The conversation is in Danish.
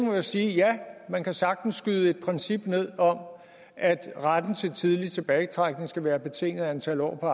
må jeg sige ja man kan sagtens skyde et princip ned om at retten til tidlig tilbagetrækning skal være betinget af antallet af år på